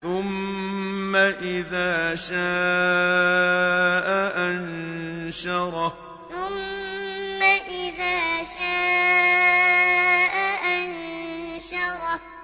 ثُمَّ إِذَا شَاءَ أَنشَرَهُ ثُمَّ إِذَا شَاءَ أَنشَرَهُ